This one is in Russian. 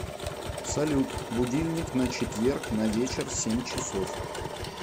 салют будильник на четверг на вечер семь часов